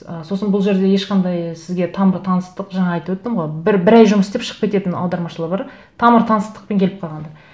ы сосын бұл жерде ешқандай сізге тамыр таныстық жаңа айтып өттім ғой бір ай жұмыс істеп шығып кететін аудармашылар бар тамыр таныстықпен келіп қалғандар